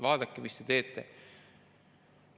Vaadake, mis te teete?